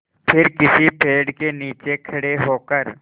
फिर किसी पेड़ के नीचे खड़े होकर